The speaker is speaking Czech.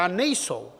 A nejsou.